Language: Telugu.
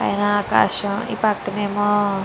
పైన ఆకాశం. ఈ పక్కనేమో --